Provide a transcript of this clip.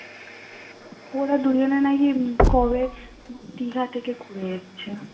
ওরা দুজনে নাকি কবে দীঘা থেকে ঘুরে এসেছে।